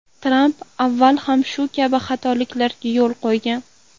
Tramp avval ham shu kabi xatoliklarga yo‘l qo‘ygan.